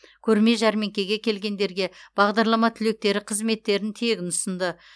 көрме жәрмеңкеге келгендерге бағдарлама түлектері қызметтерін тегін ұсынды